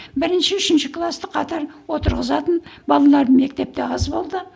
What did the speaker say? бірінші үшінші класты қатар отырғызатын балалар мектепте аз болды